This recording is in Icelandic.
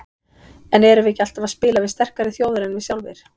En erum við ekki alltaf að spila við sterkari þjóðir en við sjálfir?